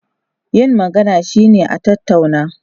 Yin magana shine a tattauna.